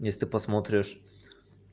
если ты посмотришь